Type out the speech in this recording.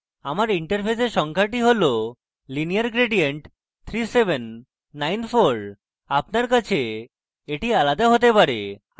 আমার interface সংখ্যাটি হল lineargradient3794 আপনার কাছে এটি আলাদা হতে পারে